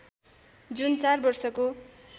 जुन चार वर्षको